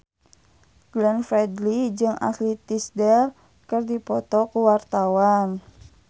Glenn Fredly jeung Ashley Tisdale keur dipoto ku wartawan